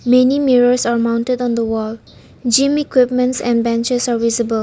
Many mirrors are mounted on the wall gym equipments and benches are visible.